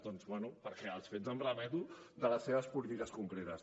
doncs bé perquè als fets em remeto de les seves polítiques concretes